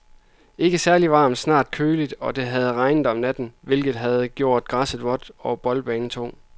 Ikke særligt varmt, snarere lidt køligt, og det havde regnet om natten, hvilket havde gjort græsset vådt og boldbanen tung.